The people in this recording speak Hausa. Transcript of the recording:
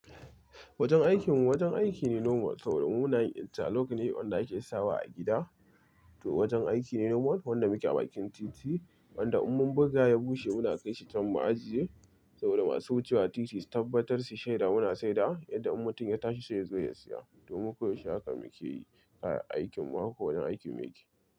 Wajen aikinmu wajen aiki ne normal saboda muna yin interlock ne wanda ake sawa a gida. To wajen aiki ne normal wanda muke a bikin titi wanda in mun buga ya bushe muna kai shi can ma ajiye saboda masu wucewa titin su tabbatar shi shaida muna saida yadda in mutum ya tashi sai ya zo ya siya domin koyaushe haka muke yi kayan aikinmu haka ko wani aikin me ke.